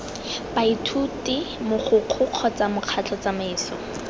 baithuti mogokgo kgotsa mokgatlho tsamaiso